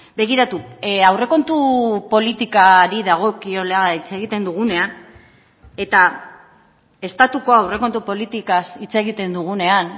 begiratu aurrekontu politikari dagokiola hitz egiten dugunean eta estatuko aurrekontu politikaz hitz egiten dugunean